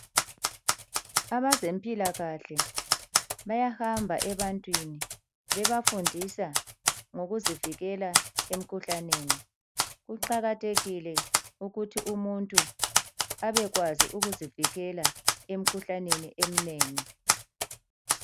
Abezempilakahle bayahamba ebantwini bebafundisa ngokuzivikela emikhuhlaneni. Kuqakathekile ukuthi umuntu abekwazi ukuzivikela emikhuhlaneni eminengi.